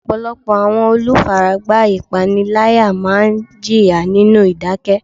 Ọ̀pọ̀lọpọ̀ àwọn olùfaragbá ìpániláyà máa ń jìyà nínú ìdákẹ́.